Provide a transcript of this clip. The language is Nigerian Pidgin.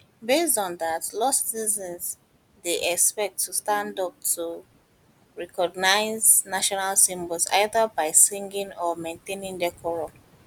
based on dat law citizens dey dey expected to stand up to recognise national symbols either by singing or maintaining decorum